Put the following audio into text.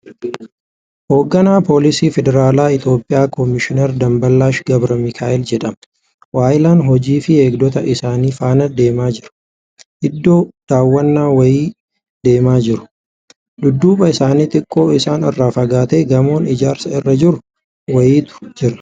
Hogganaa polisii federaalaa Itiyoophiyaa Komishinar Damballaash Gabra Mikaa'el jedhama. Waahillan hojiifii eegdota isaa faana deemaa jira. Iddoo daawwannaa wayii deemaa jiru. Dudduuba isaanii xiqqoo isaan irraa fagaatee gamoon ijaarsa irra jiru wayiitu jira.